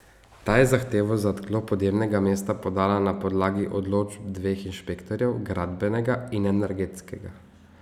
Ta je zahtevo za odklop odjemnega mesta podala na podlagi odločb dveh inšpektorjev, gradbenega in energetskega.